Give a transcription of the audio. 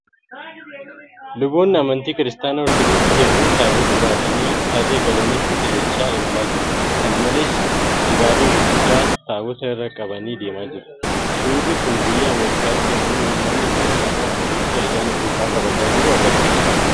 Luboonni amantii Kiristaanaa Ortoodoksii hedduun taabota baatanii tarree galanii suuta jechaa imalaa jiru. kana malees, dibaabee gurguddaa taabota irra qabanii deemaa jiru. Suurri kun biyya Ameerikaatti yemmuu uummanni kiristaanaa Ortoodoksii ayyaana cuuphaa kabajaa jiru argisiisudha.